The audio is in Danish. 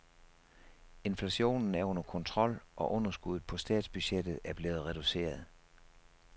Inflationen er under kontrol og underskuddet på statsbudgettet er blevet reduceret.